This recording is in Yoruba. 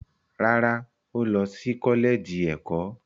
Rárá, ó lọ sí kọ́lẹ́ẹ̀jì ẹ̀kọ́.